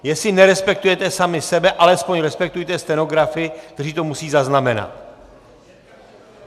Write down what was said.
Jestli nerespektujete sami sebe, alespoň respektujte stenografy, kteří to musejí zaznamenat!